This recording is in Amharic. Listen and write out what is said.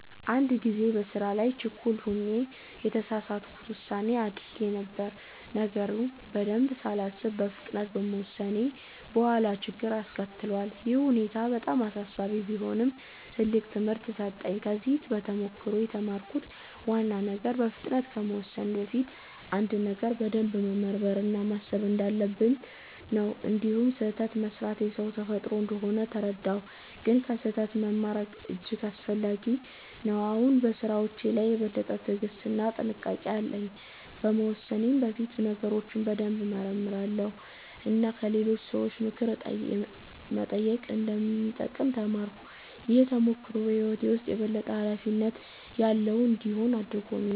አንድ ጊዜ በስራ ላይ ችኩል ሆኜ የተሳሳት ውሳኔ አድርጌ ነበር። ነገሩን በደንብ ሳላስብ በፍጥነት በመወሰኔ በኋላ ችግር አስከትሏል። ይህ ሁኔታ በጣም አሳሳቢ ቢሆንም ትልቅ ትምህርት ሰጠኝ። ከዚህ ተሞክሮ የተማርኩት ዋና ነገር በፍጥነት ከመወሰን በፊት አንድን ነገር በደንብ መመርመር እና ማሰብ እንዳለብኝ ነው። እንዲሁም ስህተት መስራት የሰው ተፈጥሮ እንደሆነ ተረዳሁ፣ ግን ከስህተት መማር እጅግ አስፈላጊ ነው። አሁን በስራዎቼ ላይ የበለጠ ትዕግስት እና ጥንቃቄ አለኝ። ከመወሰኔ በፊት ነገሮችን በደንብ እመረምራለሁ እና ከሌሎች ሰዎች ምክር መጠየቅ እንደሚጠቅም ተማርኩ። ይህ ተሞክሮ በህይወቴ ውስጥ የበለጠ ኃላፊነት ያለው እንድሆን አድርጎኛል።